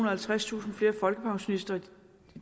og halvtredstusind flere folkepensionister